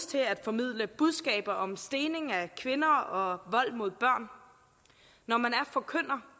til at formidle budskaber om stening af kvinder og vold mod børn når man er forkynder